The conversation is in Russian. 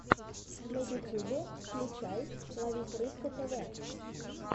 на ютьюбе включай ловись рыбка тв